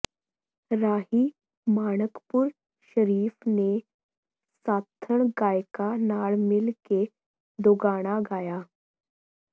ਰਾਹੀ ਮਾਣਕਪੁਰ ਸ਼ਰੀਫ ਨੇ ਸਾਥਣ ਗਾਇਕਾ ਨਾਲ ਮਿਲ ਕੇ ਦੋਗਾਣਾ ਗਾਇਆ